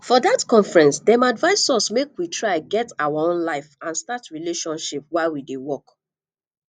for dat conference dem advise us make we try get our own life and start relationship while we dey work